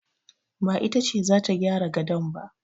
Ba ita ce za ta gyara gadon ba